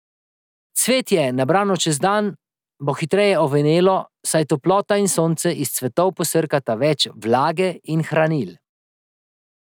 Cvetje, nabrano čez dan, bo hitreje ovenelo, saj toplota in sonce iz cvetov posrkata več vlage in hranil.